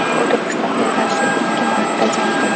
U Turkistonga qarshi ikki marta jang qildi.